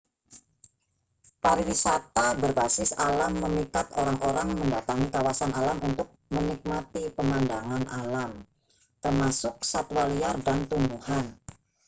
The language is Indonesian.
pariwisata berbasis alam memikat orang-orang mendatangi kawasan alam untuk menikmati pemandangan alam termasuk satwa liar dan tumbuhan